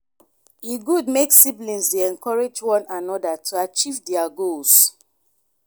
e good make siblings dey encourage one another to achieve their goals.